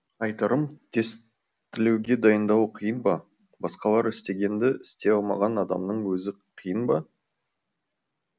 айтарым тестілеуге дайындалу қиын ба басқалар істегенді істей алмаған адамның өзі қиын ба